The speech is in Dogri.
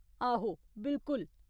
आहो, बिलकुल।